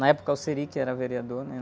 Na época o que era vereador, né?